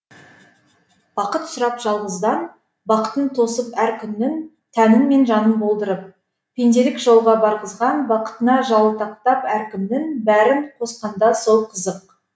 бақыт сұрап жалғыздан бақытын тосып әр күннің тәнің мен жаның болдырып пенделік жолға барғызған бақытына жалтақтап әркімнің бәрін қосқанда сол қызық